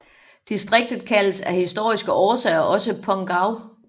Distriktet kaldes af historiske årsager også Pongau